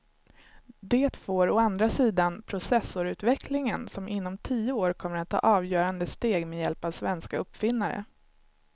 Det får å andra sidan processorutvecklingen som inom tio år kommer att ta avgörande steg med hjälp av svenska uppfinnare.